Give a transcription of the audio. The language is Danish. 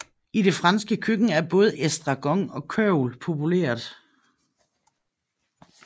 I det franske køkken er både estragon og kørvel populært